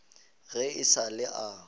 ge e sa le a